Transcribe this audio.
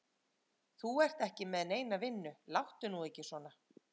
Þú ert ekki með neina vinnu, láttu nú ekki svona.